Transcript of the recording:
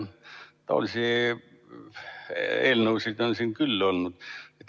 Taolisi eelnõusid on siin küll olnud.